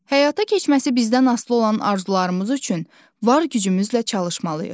Həyata keçməsi bizdən asılı olan arzularımız üçün var gücümüzlə çalışmalıyıq.